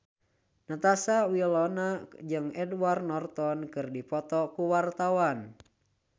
Natasha Wilona jeung Edward Norton keur dipoto ku wartawan